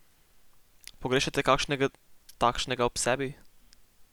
Pogrešate kakšnega takšnega ob sebi?